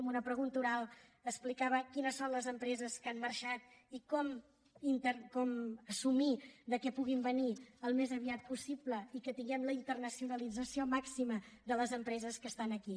en una pregunta oral explicava quines són les empreses que han marxat i com assumir que puguin venir al més aviat possible i que tinguem la internacionalització màxima de les empreses que estan aquí